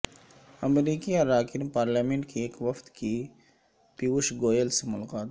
امریکی اراکین پارلیمنٹ کے ایک وفد کی پیوش گوئل سے ملاقات